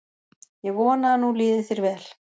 Ég vona að nú líði þér vel.